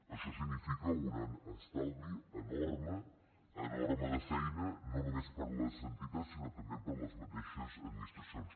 això significa un estalvi enorme enorme de feina no només per a les entitats sinó també per a les mateixes administracions